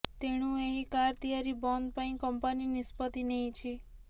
ତେଣୁ ଏହି କାର୍ ତିଆରି ବନ୍ଦ ପାଇଁ କମ୍ପାନୀ ନିଷ୍ପତ୍ତି ନେଇଛି